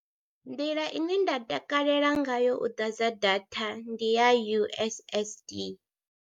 Nḓila ine nda takalela ngayo u ḓadza data ndi ya U_S_S_D.